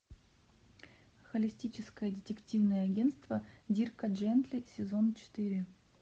холистическое детективное агентство дирка джентли сезон четыре